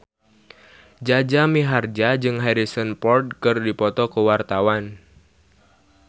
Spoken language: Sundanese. Jaja Mihardja jeung Harrison Ford keur dipoto ku wartawan